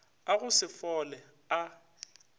a go se fole a